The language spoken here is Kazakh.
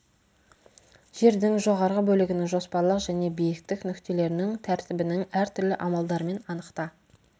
жердің жоғарғы бөлігінің жоспарлық және биіктік нүктелерінің тәртібінің әртүрлі амалдармен анықта